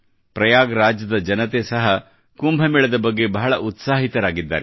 ಪ್ರಯಾಗ್ ರಾಜ್ ದ ಜನತೆ ಸಹ ಕುಂಭ ಮೇಳದ ಬಗ್ಗೆ ಬಹಳ ಉತ್ಸಾಹಿತರಾಗಿದ್ದಾರೆ